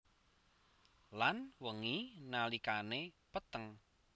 Lan wengi nalikane peteng